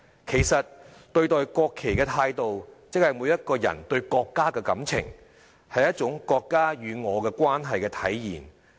其實對待國旗的態度即是每一個人對國家的感情，是一種"國家與我的關係"的體現。